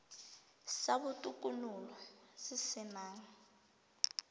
sa botokololo se se nang